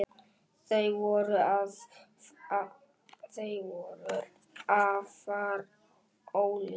Þau voru afar ólík.